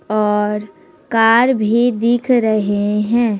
और कार भी दिख रहे हैं।